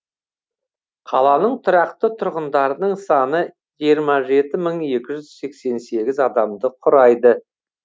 қаланың тұрақты тұрғындарының саны жиырма жеті мың екі жүз сексен сегіз адамды құрайды